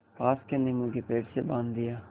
पास के नीबू के पेड़ से बाँध दिया